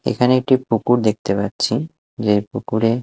এখানে একটি পুকুর দেখতে পাচ্ছি যে পুকুরে--